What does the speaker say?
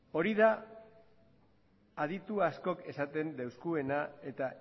hori da aditu askok esaten deuskuena eta